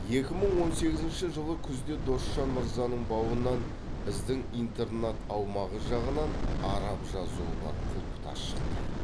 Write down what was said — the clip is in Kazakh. екі мың он сегізінші жылы күзде досжан мырзаның бауынан біздің интернат аумағы жағынан араб жазуы бар құлпытас шықты